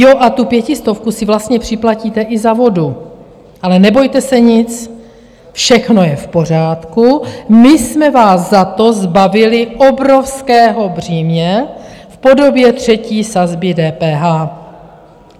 Jo, a tu pětistovku si vlastně připlatíte i za vodu, ale nebojte se nic, všechno je v pořádku, my jsme vás za to zbavili obrovského břímě v podobě třetí sazby DPH.